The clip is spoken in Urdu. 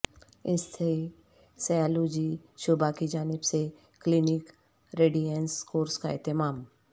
انستھیسیالوجی شعبہ کی جانب سے کلینیکل ریڈینیس کورس کا اہتمام